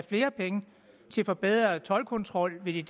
flere penge til forbedret toldkontrol i